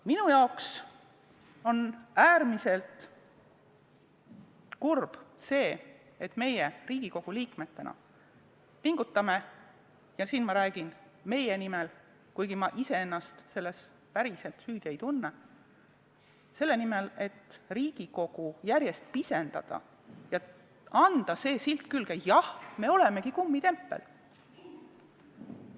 Minu jaoks on äärmiselt kurb see, et meie Riigikogu liikmetena pingutame – ja siin ma räägin meie nimel, kuigi ma iseennast selles päriselt süüdi ei tunne – justkui selle nimel, et Riigikogu järjest pisendada ja saada külge silt "Jah, me olemegi kummitempel".